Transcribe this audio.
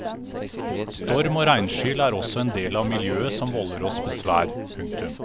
Storm og regnskyll er også en del av miljøet som volder oss besvær. punktum